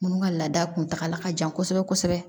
Minnu ka laada kuntagala ka jan kosɛbɛ kosɛbɛ